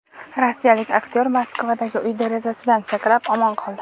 Rossiyalik aktyor Moskvadagi uy derazasidan sakrab, omon qoldi.